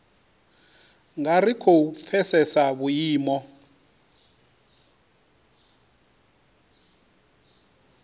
nga ri khou pfesesa vhuimo